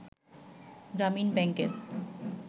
গ্রামীণ ব্যাংকের